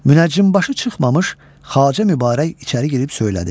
Münəccimbaşı çıxmamış Xacə Mübarək içəri girib söylədi.